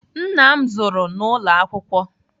Nna m zụrụ n'ụlọ akwụkwọ.